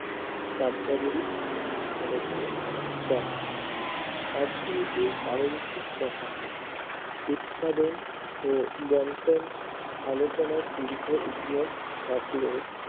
কার্যাবলী নিয়ে আলোচনা করে অর্থনীতির পারোনসিক কথা উৎপাদন ও বন্টন আলোচনা তীব্র এতিয়াৰ থাকলেও